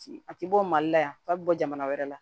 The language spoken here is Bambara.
A ti bɔ mali la yan f'a bi bɔ jamana wɛrɛ la